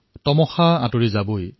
अँधियार ढलकर ही रहेगा